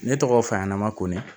Ne tɔgɔ faɲɛna ma ko